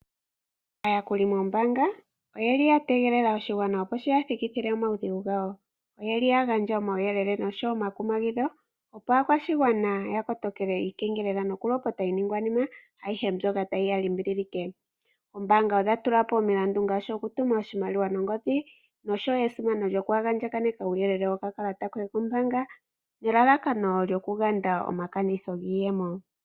Aayakuli moombaanga oyeli ya tegelela oshigwana opo shi ya thikithile omaudhigu gawo. Oyeli ya gandja omauyelele oshowo omakumagidho, opo aakwashigwana ya kotokele iikengelela noku lopota iiningwanima ayihe mbyoka tayi ya limbililike . Oombaanga odha tula po omilandu ngaashi oku tuma oshimaliwa nongodhi noshowo esimano lyoku andjaganeka uuyelele wokakalata koye kombaanga nelalakano lyoku ganda omakanitho giiyemo.